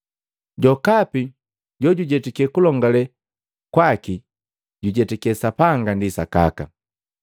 Jokapi jojujetake kulongale kwaki jujetake Sapanga ndi sakaka.